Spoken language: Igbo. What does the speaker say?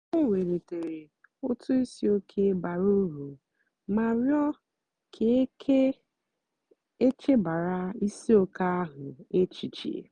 o wèlìtèrè otù ìsìòké bàrà úrù mà rịọ́ kà e kà e chèbàra ìsìòké ahụ́ èchìchè.